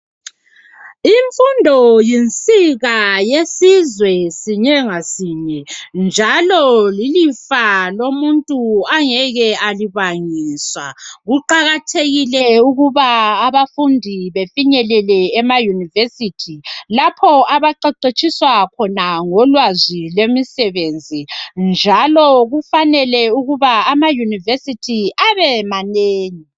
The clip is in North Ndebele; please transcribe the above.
Imfundo yinsika yesizwe sinye ngasonye njalo lilifa lomuntu angeke alibangiswa. Kuqakathekile ukuba abafundi befinyelele emayunivesithi lapho abaqeqetshiswa khona ngolwazi lwemisebenzi njalo kufanele ukuba amayunivesithi abe manengi.